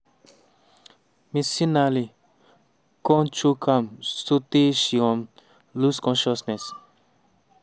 mcinally kon choke am sotay she um lose consciousness.